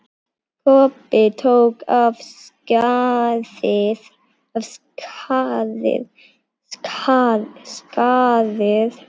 Kobbi tók af skarið.